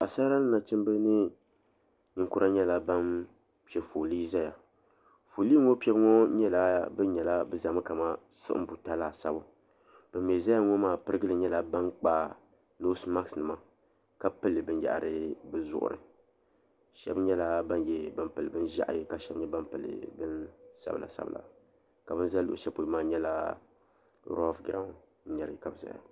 Paɣasara ni nachimba ni ninkura nyɛla ban piɛ foolii zaya foolii ŋɔ piɛbu ŋɔ nyɛla bi nyɛla bi zami kaman siɣiŋ buta laasabu bin mi zaya ŋɔ maa pirigili nyɛla bin kpa noosi maks nima ka pili bin yahiri bi zuɣiri shɛba nyɛla bin pili bin ʒiɛhi ka shɛba nyɛ ban pili bin sabila sabila ka bin za luɣushɛli polo maa nyɛla rɔɔf girawu ka bi zaya.